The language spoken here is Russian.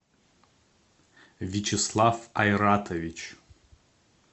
вячеслав айратович